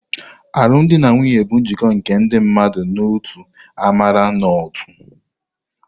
Alụmdi na nwunye bụ njikọ nke ndị mmadụ n'otu amara na ótū.